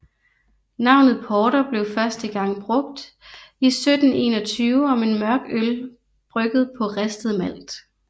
Navnet porter blev første gang brugt i 1721 om en mørk øl brygget på ristet malt